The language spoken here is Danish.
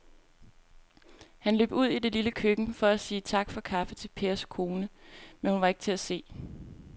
Han løb ud i det lille køkken for at sige tak for kaffe til Pers kone, men hun var ikke til at se.